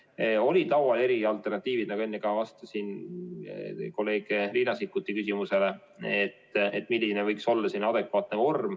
Meil olid laual erinevad alternatiivid, milline võiks olla adekvaatne vorm, nagu enne ka vastasin kolleeg Riina Sikkuti küsimusele.